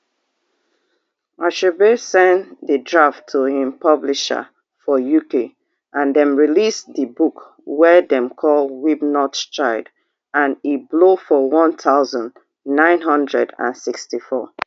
achebe send di draft to im publisher for uk and dem release di book wey dem call weep not child and e blow for one thousand, nine hundred and sixty-four